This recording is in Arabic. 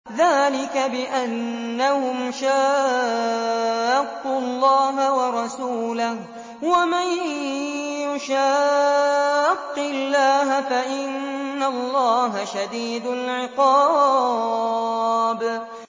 ذَٰلِكَ بِأَنَّهُمْ شَاقُّوا اللَّهَ وَرَسُولَهُ ۖ وَمَن يُشَاقِّ اللَّهَ فَإِنَّ اللَّهَ شَدِيدُ الْعِقَابِ